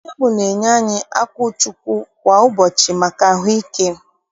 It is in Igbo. Nne m na-enye anyị akwụchukwu kwa ụbọchị maka ahụike.